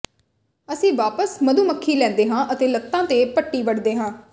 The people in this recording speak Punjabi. ਅਸੀਂ ਵਾਪਸ ਮਧੂ ਮੱਖੀ ਲੈਂਦੇ ਹਾਂ ਅਤੇ ਲੱਤਾਂ ਤੇ ਪੱਟੀ ਵੱਢਦੇ ਹਾਂ